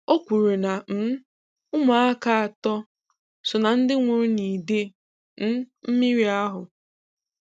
O kwuru na um ụmụaka atọ so na ndị nwụrụ n'ide um mmiri ahụ.